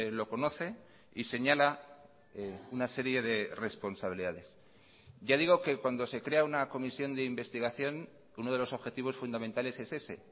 lo conoce y señala una serie de responsabilidades ya digo que cuando se crea una comisión de investigación uno de los objetivos fundamentales es ese